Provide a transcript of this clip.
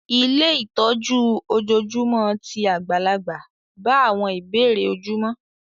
Ilé ìtọ́jú ojoojúmọ́ ti àgbàlagbà bá àwọn ìbéèrè ojúmọ́